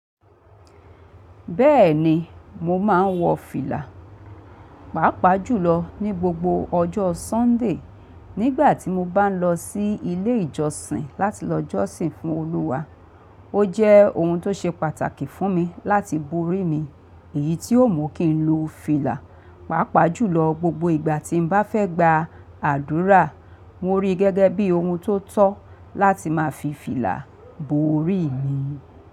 Bẹ́ẹ̀ni mo máa ń wọ fìlà, pàápàá jùlọ ní gbogbo ọjọ́ Sunday nígbà tí mo bá ń lọ sí ilé ìjọsìn láti lọ jọ́sìn fún Olúwa. Ó jẹ́ ohun tó ṣe pàtàkì fún mi láti borí mi èyí tí ó mu kí n lo fìlà, pàápàá jùlọ gbogbo ìgbà tí mo bá fẹ́ gba àdúrà. Mo rí i gẹ́gẹ́ bí ohun tó tọ́ láti máa fi fìlà borí mi.